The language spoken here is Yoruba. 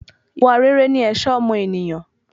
Ìwà rere ni ẹ̀ṣọ́ ọmọ ènìyàn